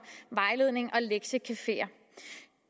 vejledning og lektiecafeer